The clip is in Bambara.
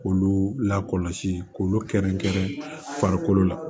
K'olu lakɔlɔsi k'olu kɛrɛnkɛrɛn farikolo la